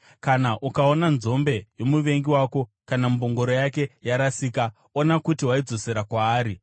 “Kana ukaona nzombe yomuvengi wako kana mbongoro yake yarasika, ona kuti waidzosera kwaari.